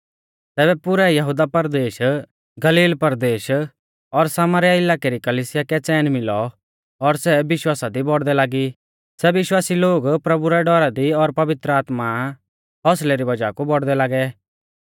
तैबै पुरै यहुदा परदेश गलील परदेश और सामरीया इलाकै री कलिसिया कै च़ैन मिलौ और सै विश्वासा दी बौड़दै लागी सै विश्वासी लोग प्रभु रै डौरा दी और पवित्र आत्मा हौसलै री वज़ाह कु बौड़दै लागै